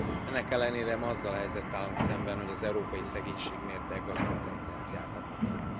Ennek ellenére ma azzal a helyzettel állunk szemben, hogy az európai szegénység mértéke aggasztó tendenciákat mutat.